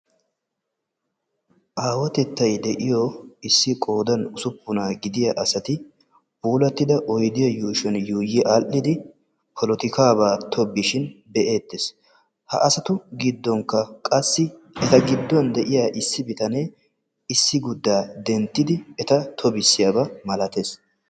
Aawatettay de'iyo issi qoodan ussuppuna gidiya asati puulatidda oyddiyaa yuushshuwa yuuyyi aadhdhidi polotikaaba tobbishin be'ettees. Ha asaru giddon qassi eta giddon issiguda denttide eta tobissiyaaba malattees.